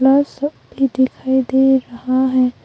Glass सब भी दिखाई दे रहा है।